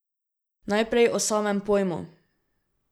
Najprej o samem pojmu.